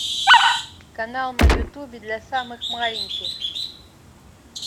канал на ютубе для самых маленьких